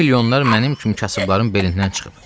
Bu milyonlar mənim kimi kasıbların belindən çıxıb.